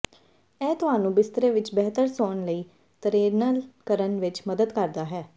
ਇਹ ਤੁਹਾਨੂੰ ਬਿਸਤਰੇ ਵਿੱਚ ਬਿਹਤਰ ਸੌਣ ਲਈ ਟਰੇਨਲ ਕਰਨ ਵਿੱਚ ਮਦਦ ਕਰਦਾ ਹੈ